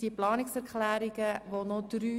Die Planungserklärungen werden weiter diskutiert.